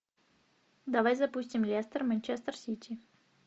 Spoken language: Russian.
давай запустим лестер манчестер сити